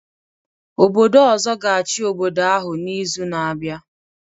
Obodo ọzọ ga-achị obodo ahụ n'izu na-abịa